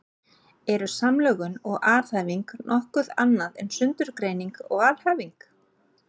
Eru samlögun og aðhæfing nokkuð annað en sundurgreining og alhæfing?